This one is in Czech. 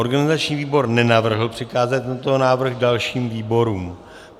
Organizační výbor nenavrhl přikázat tento návrh dalším výborům.